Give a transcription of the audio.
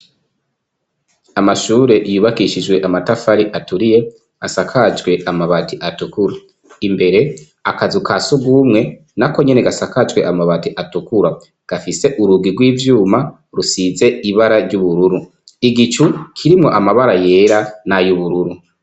Amashuri yubakishijwe amatafari aturiye asakajwe amabati atukura imbere akazu ka sugumwe nako nyene gasakajwe amabati atukura gafise urugi gw' ivyuma rusize ibara ry'ubururu ,igicu kirimwo amabara yera n' ayubururu.